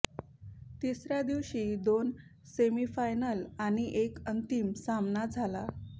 तिसर्या दिवशी दोन सेमीफायनल आणि एक अंतिम सामना झाला